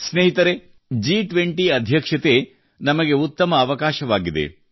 ಸ್ನೇಹಿತರೇ ಜಿ20 ಅಧ್ಯಕ್ಷತೆ ನಮಗೆ ಉತ್ತಮ ಅವಕಾಶವಾಗಿದೆ